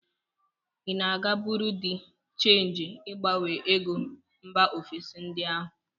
Ị na-aga buru dị chenji ịgbanwe ego mba ofesi ndị ahụ?